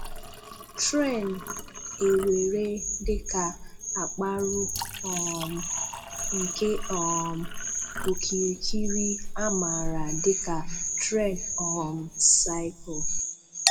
Tren èweré dị ka àkpá̀rụ̀ um nke um ‘ọ̀kíríkírí’ à màra dị ka Tren um Cycle.